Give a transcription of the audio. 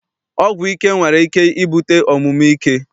Ọgwụ ike nwere ike ibute omume ike.